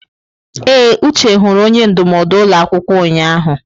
Ee, Uche hụrụ onye ndụmọdụ ụlọ akwụkwọ ụnyahụ.